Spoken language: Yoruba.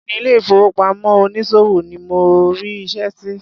Béèni ile ìfowópamọ́ onísòwò ni mo rí iṣẹ́ sí.